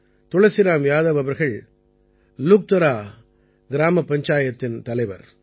துளசிராம் யாதவ் அவர்கள் லுக்தரா கிராமப் பஞ்சாயத்தின் தலைவர்